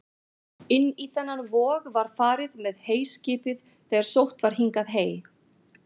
Inn í þennan vog var farið með heyskipið þegar sótt var hingað hey.